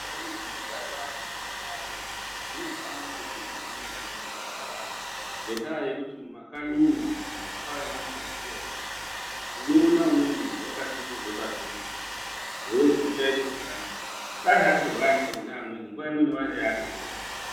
Ndau dzinogare vantu vanotwaya dzinofane kunga dzirimwo munyika mwedu dzakawanda ngendaa yekuti mumakanyi umwo vantu vanotwaya vanondosiiwa varimwo. Unoona umweni muntu akasungirwa pasi pemuti eizwi uchaite zvakanaka. Dai atorwa aendeswe kune amweni nguwa imweni waidai atodzokera.